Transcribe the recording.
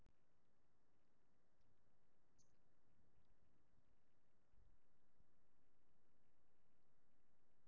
Í upphafi skyldi endinn skoða og ekki gott að ana að neinu.